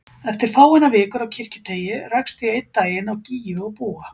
Eftir fáeinar vikur á Kirkjuteigi rakst ég einn daginn á Gígju og Búa.